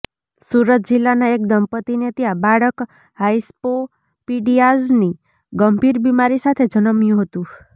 સુરત જિલ્લાના એક દંપત્તિને ત્યાં બાળક હાઇસ્પોપીડીયાઝની ગંભીર બીમારી સાથે જન્મયું હતું